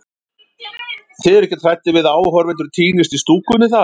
Þið eruð ekkert hræddir við að áhorfendur týnist í stúkunni þar?